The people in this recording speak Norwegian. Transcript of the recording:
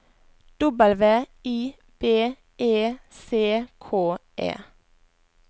W I B E C K E